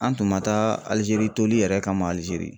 An tun ma taa Alizeri toli yɛrɛ kama Alizeri.